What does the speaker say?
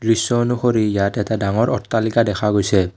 দৃশ্য অনুসৰি ইয়াত এটা ডাঙৰ অট্টালিকা দেখা গৈছে।